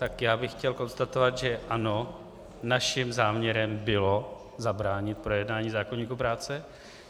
Tak já bych chtěl konstatovat, že ano, naším záměrem bylo zabránit projednání zákoníku práce.